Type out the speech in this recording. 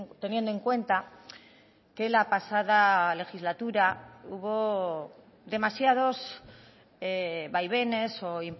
teniendo en cuenta que la pasada legislatura hubo demasiados vaivenes o